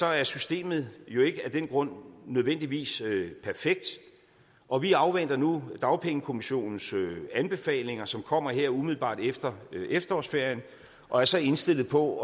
er systemet jo ikke af den grund nødvendigvis perfekt og vi afventer nu dagpengekommissionens anbefalinger som kommer her umiddelbart efter efterårsferien og er så indstillet på